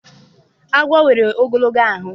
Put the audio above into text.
Agwọ nwere ogologo ahụ.